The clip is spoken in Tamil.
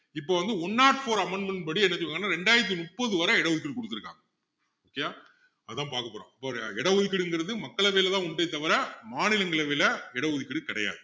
இப்போ வந்து one not four amendment படி என்ன சொல்றாங்கன்னா ரெண்டாயிரத்து முப்பது வரை இட ஒதுக்கீடு குடுத்திருக்காங்க okay யா அதான் பாக்கபோறோம் இப்போ இட ஒதுக்கீடுங்குறது மக்களவையிலதான் உண்டே தவிர மாநிலங்களவையில இட ஒதுக்கீடு கிடையாது